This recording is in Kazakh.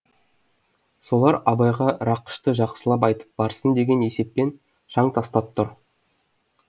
солар абайға рақышты жақсылып айтып барсын деген есеппен шаң тастап тұр